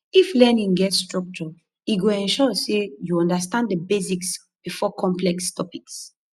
if learning get structure e go ensure say you understand the basics before complex topics